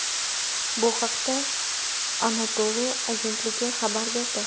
Bu haqda Anadolu agentligi xabar berdi .